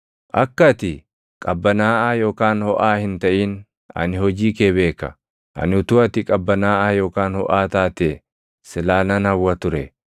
Akka ati qabbanaaʼaa yookaan hoʼaa hin taʼin ani hojii kee beeka! Ani utuu ati qabbanaaʼaa yookaan hoʼaa taatee silaa nan hawwa ture.